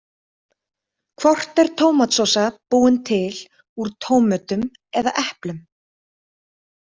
Hvort er tómatsósa búin til úr tómötum eða eplum?